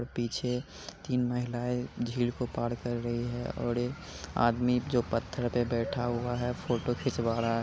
पीछे तीन महिलाएँ झील को पार कर रही है और ये आदमी जो पत्थर पे बैठा हुआ है फोटो खिंचवा रहा --